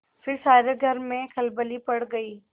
फिर सारे घर में खलबली पड़ गयी